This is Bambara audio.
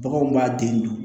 Baganw b'a den dun